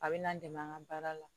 A bɛ na n dɛmɛ an ka baara la